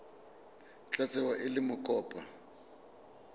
tla tsewa e le mokopa